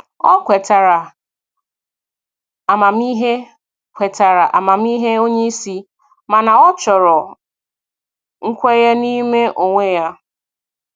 O kwetara amamihe kwetara amamihe onye isi, mana ọ chọrọ nkwenye n'ime onwe ya.